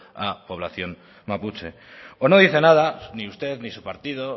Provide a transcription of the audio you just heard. a población mapuche o no dice nada ni usted ni su partido